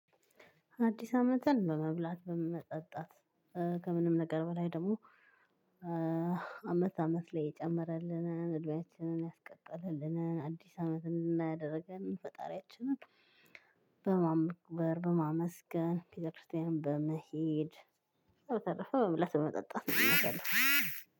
አዲስ አመትን በመብላት በመጠጣት ከምንም ነገር በላይ ደግሞ አመት አመት ላይ የጨመረልንን እድሜያችንን ያስቀጥልልንን አዲስ አመት እንድናይ ያደርገንን ፈጣሪያችንን። በማመስገን ቤተ ክርስቲያን በመሄድ በተረፈ በመብላት በመጠጣት ነው የማሳልፈው።